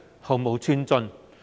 毫無寸進。